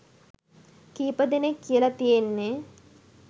කීප දෙනෙක් කියල තියෙන්නෙ